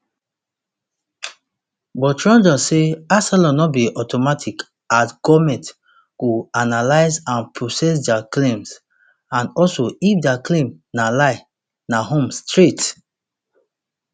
but trudeau say asylum no be automatic as goment go analyse and process dia claims and and if dia claim na lie na home straight